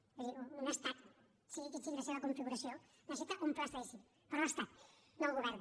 és a dir un estat sigui quina sigui la seva configuració necessita un pla estadístic però l’estat no el govern